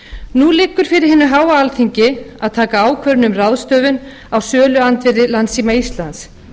nú liggur fyrir hinu háa alþingi að taka ákvörðun um ráðstöfun á söluandvirði landssíma íslands